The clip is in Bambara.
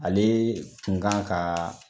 Ale kunkan ka